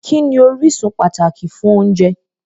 Kí ni orísun pàtàkì fún oúnjẹ?